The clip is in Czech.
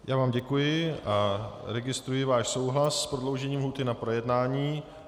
Já vám děkuji a registruji váš souhlas s prodloužením lhůty na projednání.